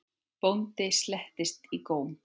Bóndinn sletti í góm.